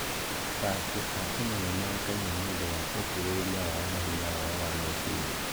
Athaki a Kenya nĩ moĩkaine nĩ ũndũ wa ũkirĩrĩria wao na hinya wao wa meciria.